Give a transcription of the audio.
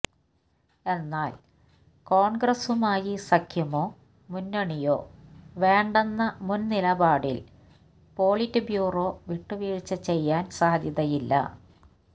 എന്നാൽ കോൺഗ്രസുമായി സഖ്യമോ മുന്നണിയോ വേണ്ടെന്ന മുൻനിലപാടിൽ പോളിറ്റ് ബ്യൂറോ വിട്ടുവീഴ്ച ചെയ്യാൻ സാധ്യതയില്ല